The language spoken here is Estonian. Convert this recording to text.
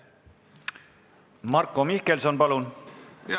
Marko Mihkelson, palun!